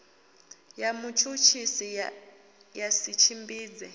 ya mutshutshisi ya si tshimbidze